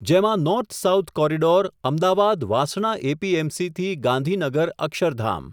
જેમાં north south corridor, Ahmedabad Vasna એપીએમસીથી Gandhinagar Akshardham.